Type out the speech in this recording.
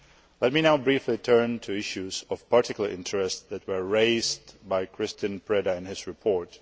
Let me now briefly turn to issues of particular interest that were raised by Christian Preda in his report.